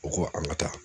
U ko an ka taa